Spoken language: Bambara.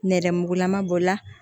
Nɛrɛmugulama b'o la